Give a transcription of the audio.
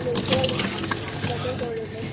লৈছো আৰু। block এ কৰি ললো।